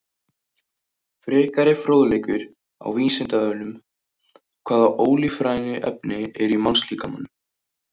Frekari fróðleikur á Vísindavefnum: Hvaða ólífrænu efni eru í mannslíkamanum?